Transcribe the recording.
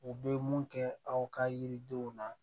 U bɛ mun kɛ aw ka yiridenw na